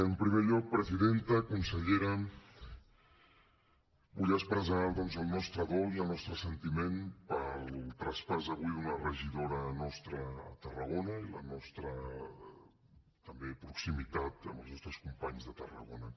en primer lloc presidenta consellera vull expressar doncs el nostre dol i el nostre sentiment pel traspàs avui d’una regidora nostra a tarragona i la nostra també proximitat amb els nostres companys de tarragona